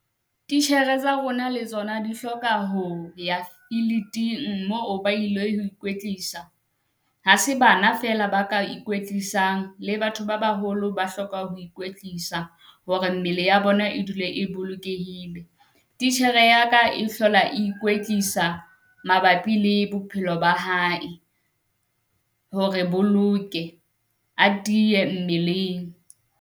Titjhere tsa rona le tsona di hloka ho ya filiting moo ba ilo ho ikwetlisa. Ha se bana fela ba ka ikwetlisang, le batho ba baholo, ba hloka ho ikwetlisa hore mmele ya bona e dule e bolokehile. Titjhere ya ka e hlola ikwetlisa mabapi le bophelo ba hae, hore boloke a tiye mmeleng.